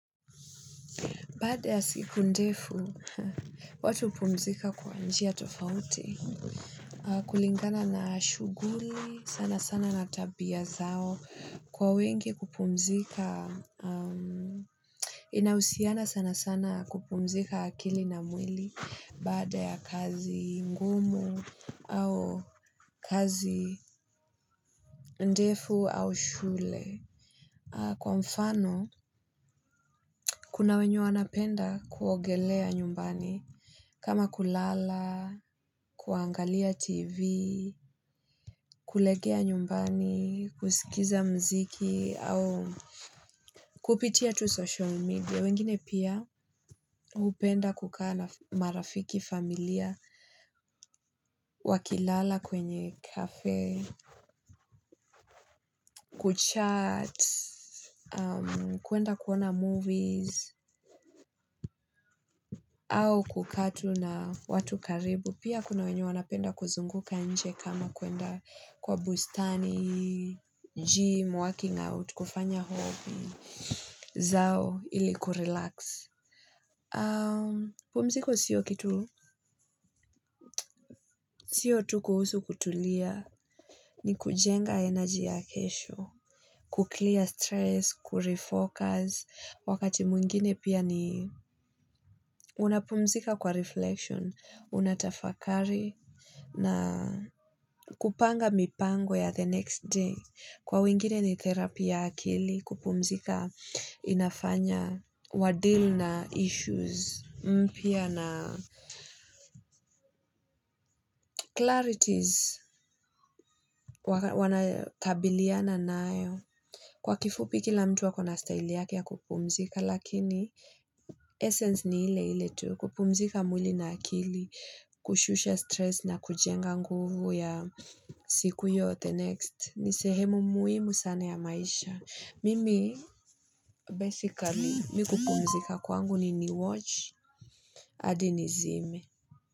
Baada ya siku ndefu, watu hupumzika kwa njia tofauti, kulingana na shuguli, sana sana na tabia zao, kwa wengi kupumzika. Inahusiana sana sana kupumzika akili na mwili baada ya kazi ngumu au kazi ndefu au shule. Kwa mfano, kuna wenye wanapenda kuogelea nyumbani, kama kulala, kuangalia tv, kulegea nyumbani, kusikiza mziki, au kupitia tu social media, wengine pia hupenda kukaa na marafiki familia, wakilala kwenye kafe, kuchat, kuenda kuona movies, au kukatu na watu karibu. Pia kuna wenye wanapenda kuzunguka nje kama kuenda kwa bustani, gym, working out, kufanya hobi zao ili kurelax. Pumziko siyo kitu. Siyo tu kuhusu kutulia ni kujenga energy ya kesho, kuclear stress, kurefocus, wakati mwingine pia ni unapumzika kwa reflection, unatafakari. Na kupanga mipango ya the next day. Kwa wingine ni therapy ya akili kupumzika inafanya wadeal na issues, mpya na clarities wanayokabiliana nayo. Kwa kifupi kila mtu akona style yake ya kupumzika lakini essence ni ile ile tu kupumzika mwili na akili kushusha stress na kujenga nguvu ya siku yote next ni sehemu muhimu sana ya maisha. Mimi basically mi kupumzika kwangu ni niwatch adi nizime.